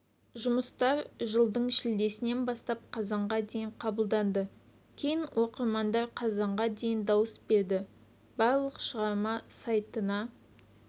жұмыстар жылдың шілдесінен бастап қазанға дейін қабылданды кейін оқырмандар қазанға дейін дауыс берді барлық шығарма сайтына